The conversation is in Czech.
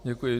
Děkuji.